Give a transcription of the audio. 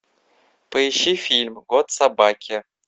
поищи фильм год собаки